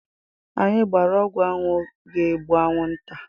Anyị gbara ọgwụ anwụ ga egbu anwụ nta